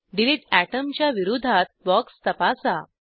delete atom च्या विरोधात box तपासा